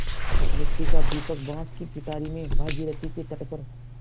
मिट्टी का दीपक बाँस की पिटारी में भागीरथी के तट पर